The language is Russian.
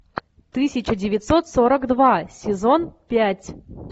тысяча девятьсот сорок два сезон пять